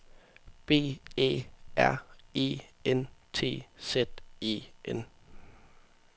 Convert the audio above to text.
B Æ R E N T Z E N